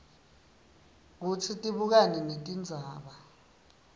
kutsi tibukane netindzaba